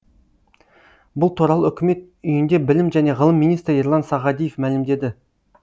бұл туралы үкімет үйінде білім және ғылым министрі ерлан сағадиев мәлімдеді